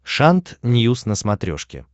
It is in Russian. шант ньюс на смотрешке